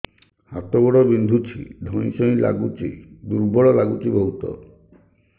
ହାତ ଗୋଡ ବିନ୍ଧୁଛି ଧଇଁସଇଁ ଲାଗୁଚି ଦୁର୍ବଳ ଲାଗୁଚି ବହୁତ